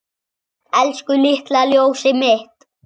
Elsku litla ljósið mitt.